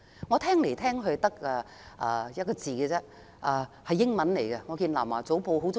我聽來聽去只有一個字，是個英文字。